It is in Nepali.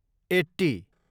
एट्टी